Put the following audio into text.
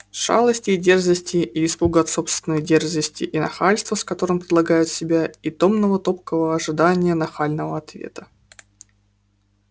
шалости и дерзости и испуга от собственной дерзости и нахальства с которым предлагают себя и томного топкого ожидания нахального ответа